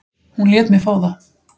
Hún lét mig fá það.